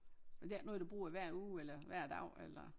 Men det er ikke noget du bruger hver uge eller hver dag eller?